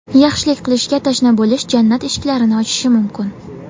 Yaxshilik qilishga tashna bo‘lish jannat eshiklarini ochishi mumkin.